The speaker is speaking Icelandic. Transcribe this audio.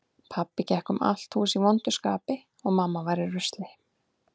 Pabbi gekk um allt hús í vondu skapi og mamma var í rusli.